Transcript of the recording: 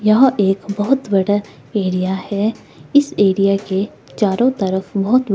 यह एक बहुत बड़ा एरिया है इस एरिया के चारों तरफ बहुत--